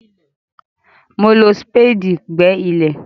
Mo fi súpéèdì gbẹ́ ilẹ̀.